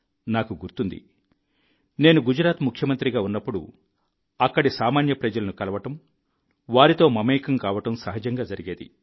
నాకు గుర్తుంది నేను గుజరాత్ ముఖ్యమంత్రిగా ఉన్నప్పుడు అక్కడి సామాన్య ప్రజలను కలవడం వారితో మమేకం కావడం సహజంగా జరిగేది